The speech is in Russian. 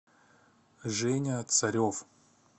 женя царев